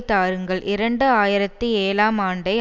தாருங்கள் இரண்டு ஆயிரத்தி ஏழாம் ஆண்டை